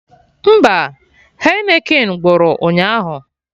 Mba, Heineken gwụrụ ụnyaahụ